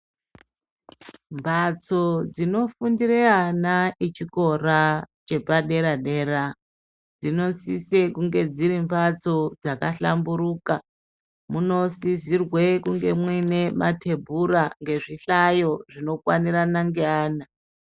Mbatso dzinofundire ana echikora chepadera -dera dzinosisa kunge dziri mbatso dzakahlamburuka munosizirwe kunge mune matebhura ngezvihlayo zvinokwanirana ngeana.